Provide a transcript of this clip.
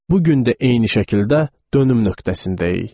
Bu gün də eyni şəkildə dönüm nöqtəsindəyik.